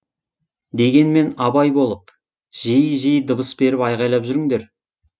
дегенмен абай болып жиі жиі дыбыс беріп айғайлап жүріңдер